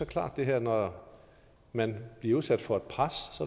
klart at når man bliver udsat for et pres